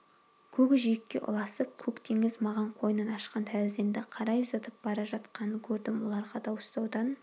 көк жиекке ұласып көк теңіз маған қойнын ашқан тәрізденді қарай зытып бара жатқанын көрдім оларға дауыстаудан